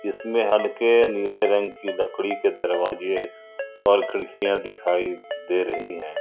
जिसमें हल्के नीले रंग की लकड़ी के दरवाजे और खिड़कियां दिखाई दे रही हैं।